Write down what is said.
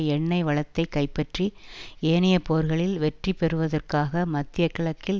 எண்ணெய் வளத்தை கைப்பற்றி ஏனைய போர்களில் வெற்றிபெறுவதற்காக மத்திய கிழக்கில்